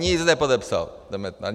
Nic nepodepsal ten Metnar.